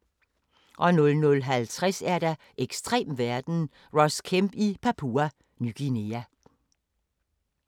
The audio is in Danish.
00:50: Ekstrem verden – Ross Kemp i Papua Ny Guinea